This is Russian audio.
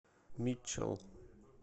митчел